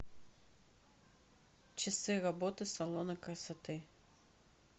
часы работы салона красоты